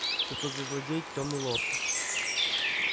все тот же злодей тёмный лорд